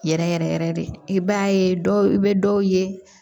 Yɛrɛ yɛrɛ yɛrɛ de i b'a ye dɔw bɛ dɔw ye